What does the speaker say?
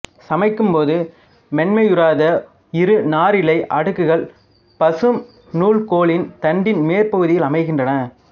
சமைக்கும்போது மென்மையுறாத இரு நாரிழை அடுக்குகள் பசும் நூல்கோலின் தண்டின் மேற்பகுதியில் அமைகின்றன